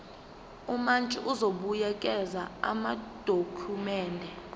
umantshi uzobuyekeza amadokhumende